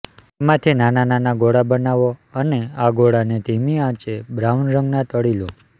તેમાંથી નાના નાના ગોળા બનાવો અને આ ગોળાને ધીમી આંચે બ્રાઉન રંગના તળી લો